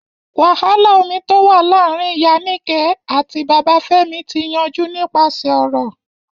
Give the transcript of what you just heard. Wàhálà omi tó wà láàrin Ìyá Níkẹ̀ àti Bàbá Fẹ́mi ti yanjú nípasẹ̀ ọ̀rọ̀.